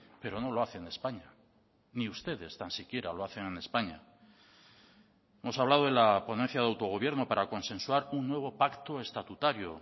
pero no lo hace en españa ni ustedes tan siquiera lo hacen en españa hemos hablado de la ponencia de autogobierno para consensuar un nuevo pacto estatutario